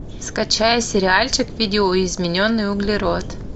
скачай сериальчик видоизмененный углерод